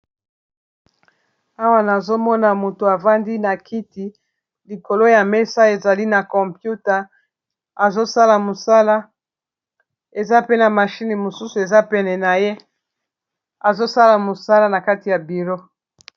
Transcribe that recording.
Awa nazomona moto afandi na kiti likolo ya mesa ezali na compute, eza peena mashine mosusu ezapene na ye azosala mosala na kati ya biro.